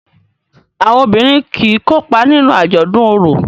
Àwọn obìrin kí kópa nínú ajọdun oro.